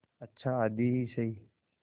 अच्छा आधी ही सही